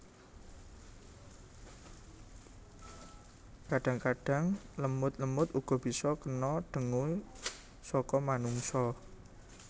Kadang kadang lemut lemut uga bisa kena dengue saka manungsa